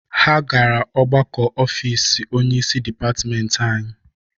Ha gara ọgbakọ ofiisi onyeisi dịpatịmentị anyị.